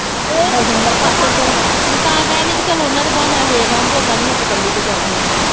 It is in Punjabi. ਮੈਂ ਤਾਂ ਕਹਿਣ ਡਈ ਕੀ ਚੱਲ ਓਹਨਾ ਦੇ ਵਹਾਨੇ ਨਾਲ਼ ਵੇਖ ਆਊ, ਓਦਾ ਨੀ ਮੇਰੇ ਤੋਂ ਕੱਲੀ ਤੋਂ ਜਾਂ ਹੁਣਾ